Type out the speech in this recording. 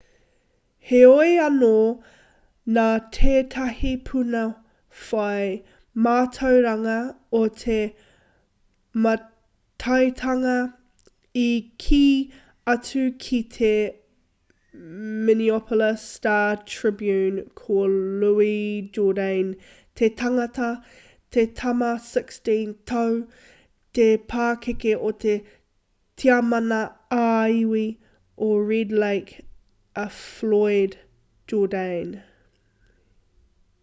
heoi anō nā tētahi puna whai mātauranga o te mātaitanga i kī atu ki te minneapolis star-tribune ko louis jourdain te tangata te tama 16-tau te pakeke o te tiamana ā-iwi o red lake a floyd jourdain